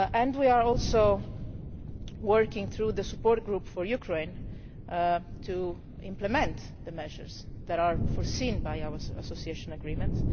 We are also working through the Support Group for Ukraine to implement the measures that are foreseen by our Association Agreement.